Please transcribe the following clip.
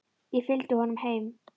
Ég fylgdi honum heim.